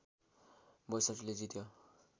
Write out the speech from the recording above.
६२ ले जित्यो